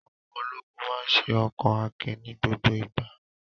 Àwọn ologun máa ṣe ọkan akin ní gbogbo ìgbà.